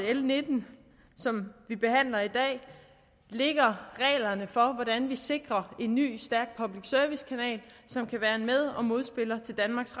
at l nitten som vi behandler i dag lægger reglerne for hvordan vi sikrer en ny stærk public service kanal som kan være en med og modspiller til danmarks